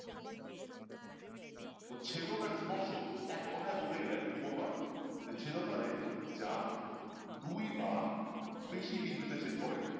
তো ছেদক আর স্পর্শক এক কথায় বলতে গেলে কি বলবা যে ছেদক মানে যা দুই বা বেশি বিন্দুতে ছেদ করে।